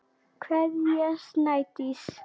Kveðja, Snædís.